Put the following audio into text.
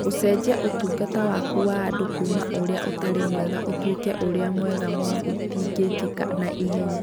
Gũcenjia ũtungata waku wa andũ kuuma ũrĩa ũtarĩ mwega ũtuĩke ũrĩa mwega mũno gũtingĩka na ihenya.